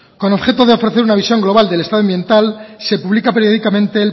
con objeto de ofrecer una visión global del estado ambiental se publica periódicamente